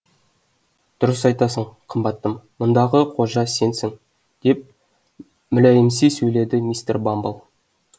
дұрыс айтасың қымбаттым мұндағы қожа сенсің деп мүләйімси сөйледі мистер бамбл